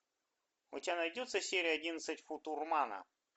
у тебя найдется серия одиннадцать футурмана